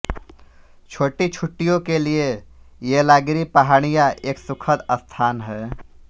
छोटी छुट्टियों के लिए येलागिरी पहाड़ियां एक सुखद स्थान हैं